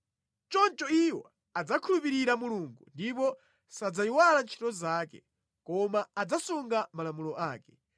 Choncho iwo adzakhulupirira Mulungu ndipo sadzayiwala ntchito zake koma adzasunga malamulo ake.